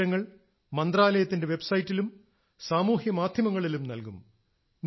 ഈ വിവരങ്ങൾ മന്ത്രാലയത്തിന്റെ വെബ്സൈറ്റിലും സാമൂഹ്യമാധ്യമങ്ങളിലും നൽകും